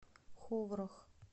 ховрах